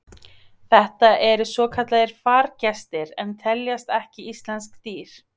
Þetta eru svokallaðir fargestir en teljast ekki íslensk dýr.